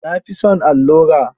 Na fi son allura.